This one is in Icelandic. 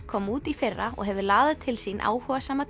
kom út í fyrra og hefur laðað til sín áhugasama